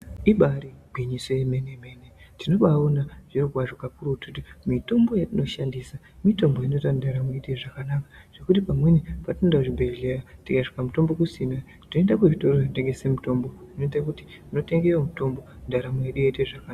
Ibari gwinyiso yemene mene tinobaona zviro kwazvo kakurutu kuti mitombo yatinoshandisa mutombo inoita kuti ndaramo iite zvakanaka zvekuti pamweni patinoenda kuzvibhedhleya tikasvika mutombo kusina Toenda kuzvitoro zvinotengesa mutombo zvoite kuti totengeto mutombo ndaramo yedu yoite zvakanaka.